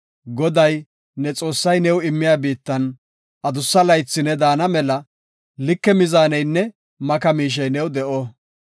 Goday, ne Xoossay new immiya biittan adussa laythi ne daana mela like mizaaneynne maka miishey new de7o.